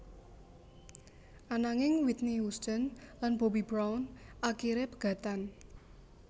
Ananging Whitney Houston lan Bobby Brown akiré pegatan